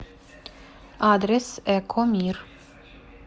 адрес экомир